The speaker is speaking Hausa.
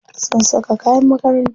Sun saka kayan makaranta.